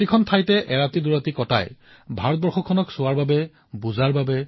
অতি কমেও ১৫টা স্থান আৰু তাকো পাৰিলে এটা ৰাতি অথবা দুটা ৰাতিৰ কাৰ্যসূচী প্ৰস্তুত কৰক